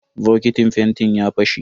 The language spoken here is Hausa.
Bokitin fentin ya fashe.